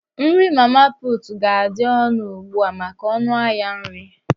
Nri mama puutụ ga-adị ọnụ ugbua maka ọnụ ahịa nri.